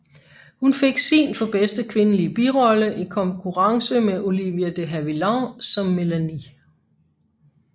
Hun fik sin for bedste kvindelige birolle i konkurrence med Olivia de Havilland som Melanie